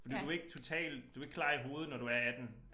Fordi du ikke total du ikke klar i hovedet når du er 18